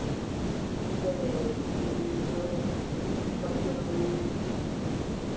ਜਾਂ ਅਹ means ਬੱਚਿਆ ਦੀ ਅਹ